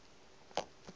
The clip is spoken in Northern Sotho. a re le ge a